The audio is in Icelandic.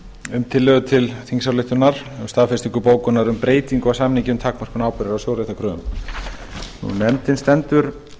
um tillögu til þingsályktunar um um staðfestingu bókunar um breytingu á samningi um takmörkun ábyrgðar á sjóréttarkröfum nefndin stendur